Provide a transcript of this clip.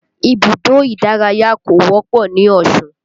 Ibùdó ìdárayá kò wọ́pọ̀ ní Osun